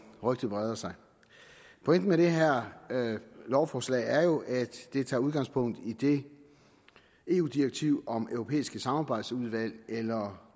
rygtet breder sig pointen med det her lovforslag er jo at det tager udgangspunkt i det eu direktiv om europæiske samarbejdsudvalg eller